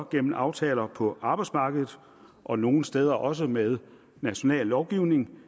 gennem aftaler på arbejdsmarkedet og nogle steder også med national lovgivning